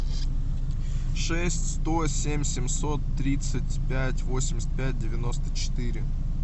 шесть сто семь семьсот тридцать пять восемьдесят пять девяносто четыре